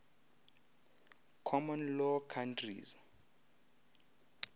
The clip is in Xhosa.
common law countries